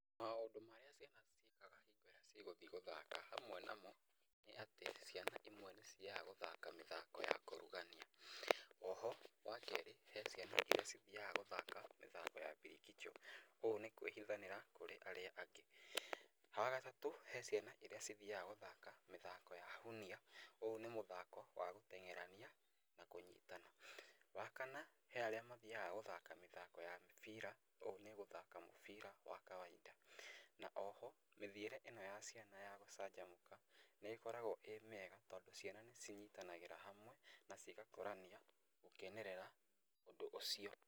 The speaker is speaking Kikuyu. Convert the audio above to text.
Maũndũ marĩa ciana ciĩkaga hingo ĩrĩa cigũthiĩ gũthaka hamwe namo nĩ atĩ ciana imwe nĩ cithiaga gũthaka mĩthako ya kũrugania, o ho wa kerĩ, he ciana iria cithiaga gũthaka mĩthako ya mbirikichũ, ũũ nĩ kwĩhithanĩra kũrĩ arĩa angĩ. Wa gatatũ he ciana iria ithiaga gũthaka mĩthako ya hunia, ũũ nĩ mũthako wa gũteng'erania na kũnyitana, wa kana he arĩa mathiaga gũthaka mĩthako ya mĩbira, ũũ nĩ gũthaka mũbira wa kawaida. Na o ho mĩthiĩre ĩno ya ciana ya gũcanjamũka, nĩ ĩkoragwo ĩ mĩega tondũ ciana nĩ cinyitanagĩra hamwe na cigakũrania gũkenerera ũndũ ũcio.